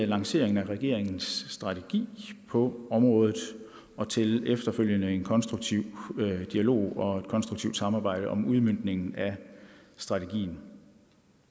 lanceringen af regeringens strategi på området og til en efterfølgende konstruktiv dialog og et konstruktivt samarbejde om udmøntningen af strategien